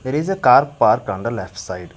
there is a car parked on the left side.